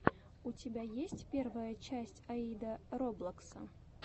у тебя есть первая часть аида роблокса